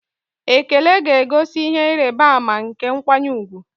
Ekele ga-egosi ihe ịrịba ama nke nkwanye ùgwù.